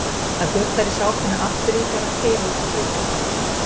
Það gutlar í sápunni aftur í þegar hann keyrir út á bryggjuna.